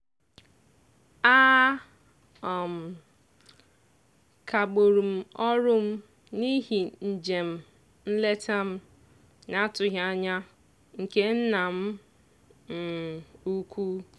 a um kagburu m ọrụ m n'ihi njem nleta m n'atụghị anya nke nna m um ukwu.